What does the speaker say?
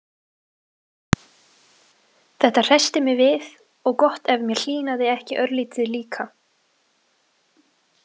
Þetta hressti mig við, og gott ef mér hlýnaði ekki örlítið líka.